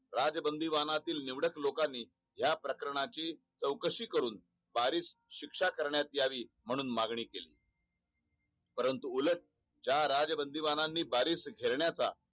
राज बंदी वाहना तील निवडक लोकांनी या प्रकरणाची चौकशी करून बारिश शिक्षा करण्यात यावी म्हणून मागणी केली परंतु उलट चा राज बंदी बाणांनी बारिश घेण्या चा